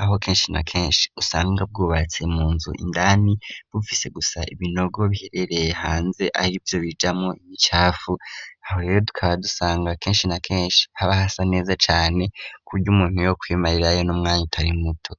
aho kenshi na kenshi usanga bwubatse mu nzu indani, bufise gusa ibinogo biherereye hanze arivyo bijamwo ibicafu, aho rero tukaba dusanga kenshi na kenshi haba hasa neza cane, kuburyo n'umuntu yokwimarirayo n'umwanya utari muto.